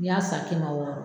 N'i y'a san kɛmɛ wɔɔrɔ